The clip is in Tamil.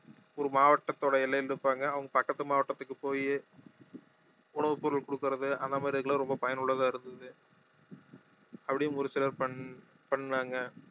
ஒரு மாவட்டத்தோட எல்லையில இருப்பாங்க அவங்க பக்கத்து மாவட்டத்துக்கு போயி உணவுப் பொருள் குடுக்கறது அந்த மாதிரி இதுக்கெல்லாம் ரொம்ப பயனுள்ளதா இருந்தது அப்படியும் ஒரு சிலர் பண்~ பண்ணாங்க